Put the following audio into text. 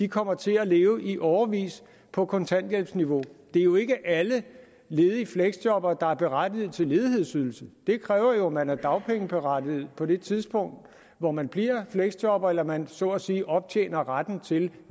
kommer til at leve i årevis på kontanthjælpsniveau det er jo ikke alle ledige fleksjobbere der er berettiget til ledighedsydelse det kræver at man er dagpengeberettiget på det tidspunkt hvor man bliver fleksjobber eller at man så at sige optjener retten til